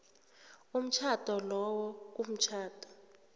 umtjhado lowo kumtjhado